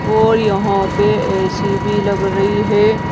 और यहां पे ए_सी भी लग रही है।